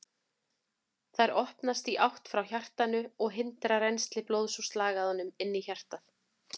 Þær opnast í átt frá hjartanu og hindra rennsli blóðs úr slagæðunum inn í hjartað.